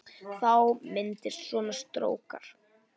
Þá myndast svona strókar